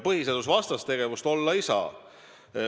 Põhiseadusvastast tegevust olla ei tohi.